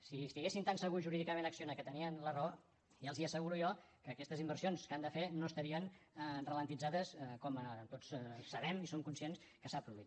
si estiguessin tan segurs jurídicament acciona que tenien la raó ja els asseguro jo que aquestes inversions que han de fer no estarien alentides com tots sabem i som conscients que s’ha produït